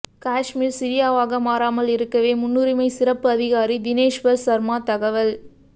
காஷ்மீர் சிரியாவாக மாறாமல் இருக்கவே முன்னுரிமை சிறப்பு அதிகாரி தினேஷ்வர் சர்மா தகவல்